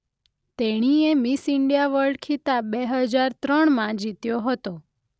તેણીએ Miss India World ખિતાબ બે હજાર ત્રણમાં જીત્યો હતો.